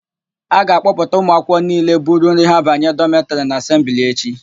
A ga-akpọpụta ụmụakwụkwọ niile buru nri ha banye dọmetịrị na asembli echi.